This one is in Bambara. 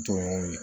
Dɔn